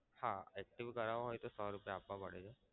હા active કરાવું હોય તો સો રૂપિયા આપવા પડે છે.